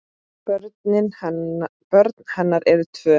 Börn hennar eru tvö.